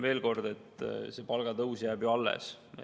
Veel kord: palgatõus jääb ju alles.